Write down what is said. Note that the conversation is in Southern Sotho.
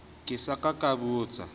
ke sa ka ka botsa